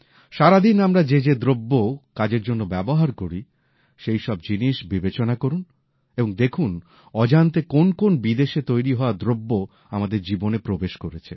সারাদিন আমরা যে যে দ্রব্য কাজের জন্য ব্যবহার করি সেই সব জিনিস বিবেচনা করুন এবং দেখুন অজান্তে কোন কোন বিদেশে তৈরি হওয়া দ্রব্য আমাদের জীবনে প্রবেশ করেছে